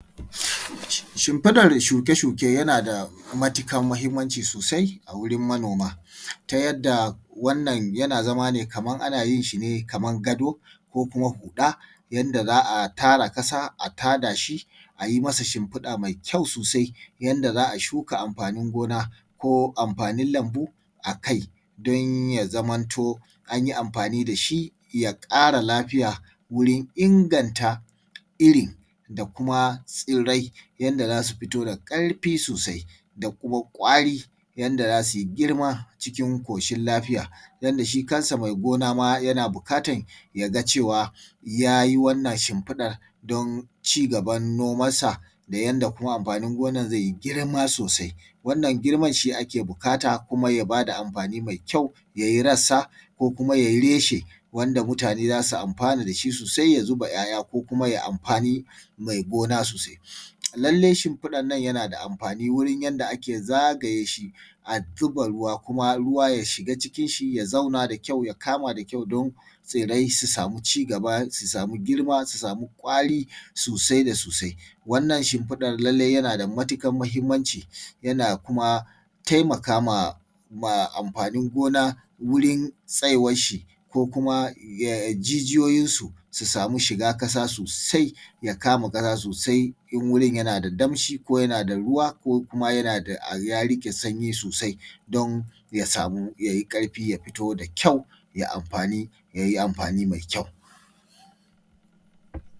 Shimfiɗar shuke-shuke yana da matuƙar muhimmaci sosai a wurin manoma, ta yanda wannan yana zama ne kaman ana yin shi ne kaman gado ko kuma huɗa, yadda za a tara ƙasa a tada shi a yi masa shimfiɗa mai kyau sosai, yanda za a shuka amfanin gona ko amfanin lambu a kai don ya zamanto anyi amfani da shi ya ƙara lafiya wurin inganta irin da kuma tsirrai, yanda za su fito da ƙarfi sosai da kuma ƙwari, yanda za su yi girma cikin ƙoshin lafiya. Yanda shi kansa mai gona ma yana buƙatan ya ga cewa ya yi wannan shimfiɗar don cigaban nomansa da yanda kuma amfanin noman zai yi girma sosai. Wannan girman shi ake buƙata kuma ya bada amfani mai kyau, ya yi rassa ko kuma ya yi reshe wanda mutane za su amfana da shi sosai ya zuba ‘ya’ya ko kuma ya amfani mai gona sosai. Lallai shimfiɗar nan yana da amfani wurin yanda ake zagaye shi a zuba ruwa kuma ruwa ya shiga cikin shi ya zauna da kyau ya kama da kyau don tsirrai su samu cigaba, su samu girma, su samu ƙwari sosai da sosai. Wannan shimfiɗar lallai yana da matuƙar mahimmanci, yana kuma taimakama ma amfanin gona wurin tsayuwar shi ko kuma jijiyoyinsu su samu shiga ƙasa sosai, ya kama ƙasa sosai in wurin yana da damshi ko yana da ruwa, ko kuma yana da ya riƙe sanyi sosai don ya samu ya yi ƙarfi ya fito da kyau ja amfani yayi amfani mai kyau.